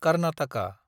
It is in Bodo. खारनाथाखा